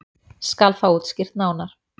Skal það útskýrt nánar.